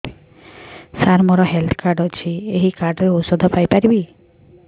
ସାର ମୋର health card ଅଛି ଏହି କାର୍ଡ ରେ ଔଷଧ ପାଇପାରିବି